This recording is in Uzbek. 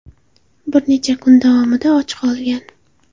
Bir necha kun davomida och qolgan.